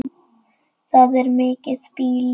Það er mikið býli.